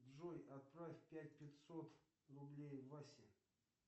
джой отправь пять пятьсот рублей васе